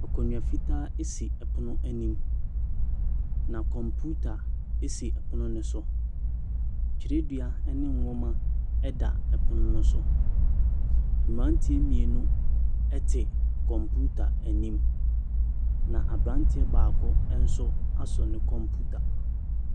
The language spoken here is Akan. Akonnwa fitaa si ɛpono anim. Na kɔmputa esi pono no so. Twerɛdua ne nwoma da pono no so. Mmranteɛ mmienu te kɔmputa anim. Na abranteɛ baako nso asɔ ne kɔmputa.